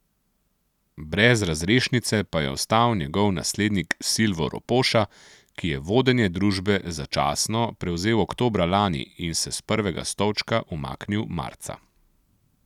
Brez razrešnice pa je ostal njegov naslednik Silvo Ropoša, ki je vodenje družbe začasno prevzel oktobra lani in se s prvega stolčka umaknil marca.